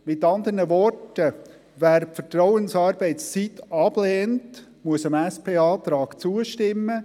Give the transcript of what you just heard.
Mit anderen Worten: Wer die Vertrauensarbeitszeit ablehnt, muss dem SP-Antrag zustimmen.